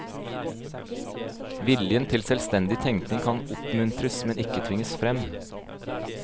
Viljen til selvstendig tenkning kan oppmuntres, men ikke tvinges frem.